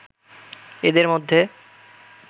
এদের মধ্যে